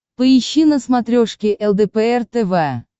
поищи на смотрешке лдпр тв